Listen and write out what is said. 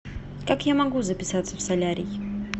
как я могу записаться в солярий